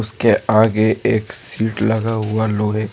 के आगे एक सीट लगा हुआ लोहे का।